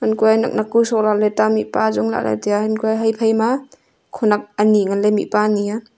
nak nak ku sok lahley ta mihpa ajong lah ley tai a phai ma khenek ani ngan ley mihpa ani a.